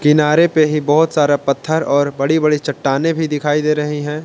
किनारे पे ही बहुत सारा पत्थर और बड़ी बड़ी चट्टानें भी दिखाई दे रही हैं।